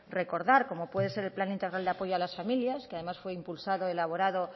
recordar como puede ser el plan integral de apoyo a las familias que además fue impulsado y elaborado